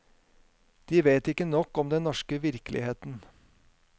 De vet ikke nok om den norske virkeligheten.